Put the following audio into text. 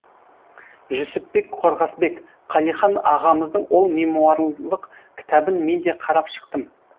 жүсіпбек қорғасбек қалихан ағамыздың ол мемуарлық кітабын мен де қарап шықтым